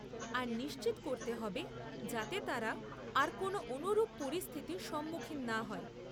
আর নিশ্চিত করতে হবে যাতে তারা আর কোন অনুরূপ পরিস্থিতির সম্মুখীন না হয়।